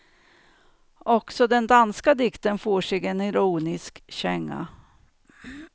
Också den danska dikten får sig en ironisk känga.